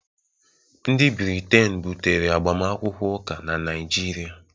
ndị Briten butere agbamakwụkwọ ụka na Naịjirịa